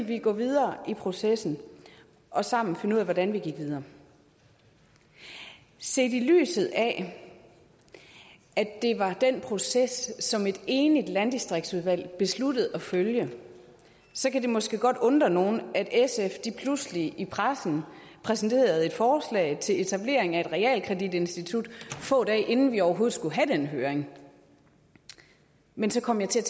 vi gå videre i processen og sammen finde ud af hvordan vi gik videre set i lyset af at det var den proces som et enigt landdistriktsudvalg besluttede at følge så kan det måske godt undre nogen at sf pludselig i pressen præsenterede et forslag til etablering af et realkreditinstitut få dage inden vi overhovedet skulle have den høring men så kom jeg til